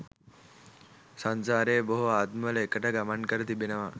සංසාරයේ බොහෝ ආත්මවල එකට ගමන් කර තිබෙනවා